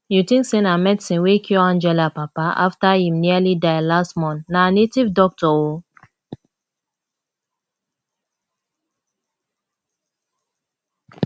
you think say na medicine wey cure angela papa after im nearly die last month na native doctor oo